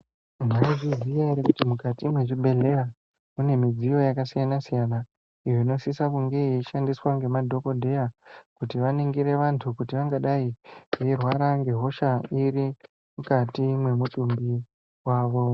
Mwaizviziya ere kuti mukati mezvibhedhlera mune midziyo yakasiyana siyana inosisa kunge yeishandiswa ngemadhokodheya kuti vaningire vanthu kuti vangadai veirwara ngehosha iri mukati memwiri wavo.